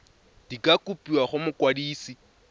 di ka kopiwa go mokwadise